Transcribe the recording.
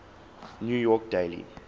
new york daily